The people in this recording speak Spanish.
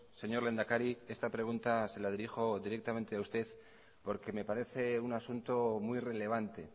señor lehendakari esta pregunta se la dirijo directamente a usted porque me parece un asunto muy relevante